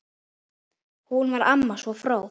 Hún var amma, svo fróð.